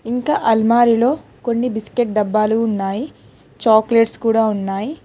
ఇంకా అల్మారిలో కొన్ని బిస్కెట్ డబ్బాలు ఉన్నాయి చాక్లెట్స్ కూడా ఉన్నాయి.